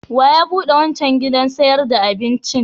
Wa ya buɗe wancan gidan sayar da abincin?